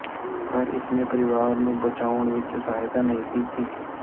ਪਰ ਇਸਨੇ ਪਰਿਵਾਰ ਨੂੰ ਬਚਾਉਣ ਵਿੱਚ ਸਹਾਇਤਾ ਨਹੀਂ ਕੀਤੀ